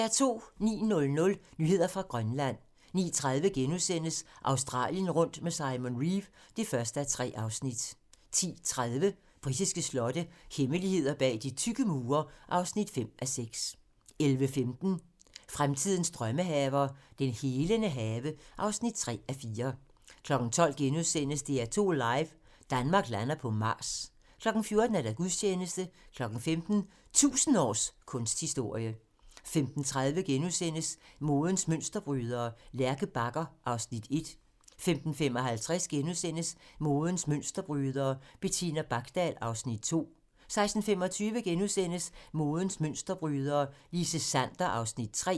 09:00: Nyheder fra Grønland 09:30: Australien rundt med Simon Reeve (1:3)* 10:30: Britiske slotte - hemmeligheder bag de tykke mure (5:6) 11:15: Fremtidens drømmehaver - den helende have (3:4) 12:00: DR2 live - Danmark lander på Mars * 14:00: Gudstjeneste 15:00: 1000 års kunsthistorie 15:30: Modens mønsterbrydere: Lærke Bagger (Afs. 1)* 15:55: Modens mønsterbrydere: Bettina Bakdal (Afs. 2)* 16:25: Modens mønsterbrydere: Line Sander (Afs. 3)*